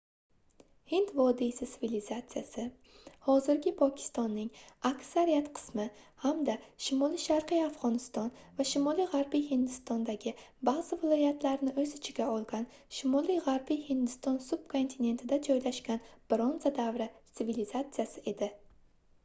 hind vodiysi sivilizatsiyasi hozirgi pokistonning aksariyat qismi hamda shimoli-sharqiy afgʻoniston va shimoli-gʻarbiy hindistondagi baʼzi viloyatlarni oʻz ichiga olgan shimoli-gʻarbiy hindiston subkontinentida joylashgan bronza davri svilizatsiyasi edi